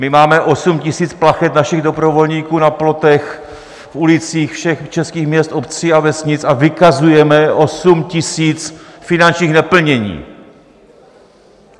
My máme 8 000 plachet našich dobrovolníků na plotech, v ulicích všech českých měst, obcí a vesnic a vykazujeme 8 000 finančních neplnění.